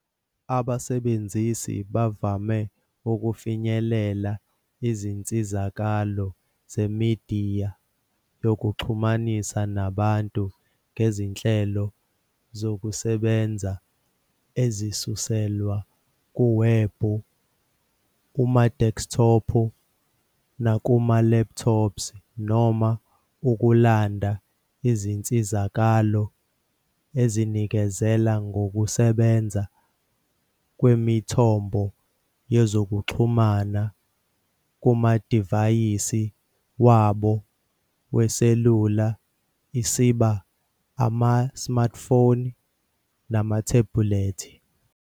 Abasebenzisi bavame ukufinyelela izinsizakalo zemidiya yokuxhumana nabantu ngezinhlelo zokusebenza ezisuselwa kuwebhu kumadeskithophu nakuma-laptops, noma ukulanda izinsizakalo ezinikezela ngokusebenza kwemithombo yezokuxhumana kumadivayisi wabo weselula, isiba, Ama-smartphone namathebulethi.